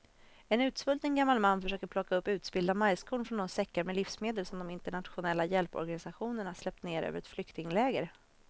En utsvulten gammal man försöker plocka upp utspillda majskorn från de säckar med livsmedel som de internationella hjälporganisationerna släppt ner över ett flyktingläger.